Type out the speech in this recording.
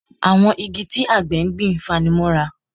Àwọn igi tí àgbẹ̀ gbìn fani mọ́ra